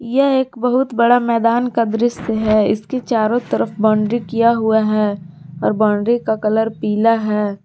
यह एक बहुत बड़ा मैदान का दृश्य है इसके चारों तरफ बाउंड्री किया हुआ है और बाउंड्री का कलर पीला है।